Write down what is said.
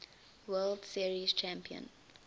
world series champion